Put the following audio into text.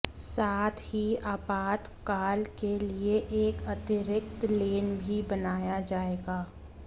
साथ ही आपातकाल के लिए एक अतिरिक्त लेन भी बनाया जाएगा